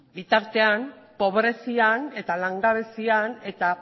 bitartean pobrezian eta langabezian eta